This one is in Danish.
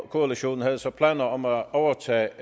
koalition havde så planer om at overtage